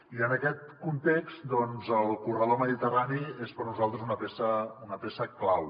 i en aquest context doncs el corredor mediterrani és per a nosaltres una peça clau